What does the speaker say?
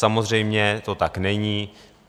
Samozřejmě to tak není.